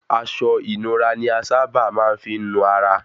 Aṣọ ìnura ni a sa bà máa ń fí nu ara